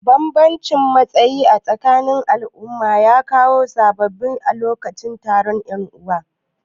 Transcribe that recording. Banbamcin matsayi acikin al'umma ya kawo sabani a lokacin taron yan'uwa.